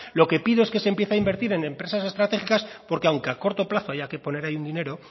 lo que pido es que se empiece a invertir en empresas estratégicas porque aunque a corto plazo hay que poner ahí un dinero